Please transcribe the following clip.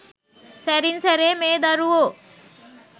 සැරින් සැරේ මේ දරුවෝ